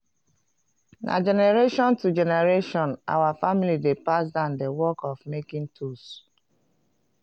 na generation to generation our family dey pass down the work of making tools